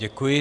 Děkuji.